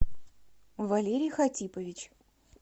валерий хатипович